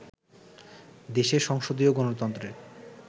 দেশে সংসদীয় গণতন্ত্রের